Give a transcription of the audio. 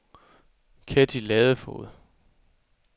Ketty Ladefoged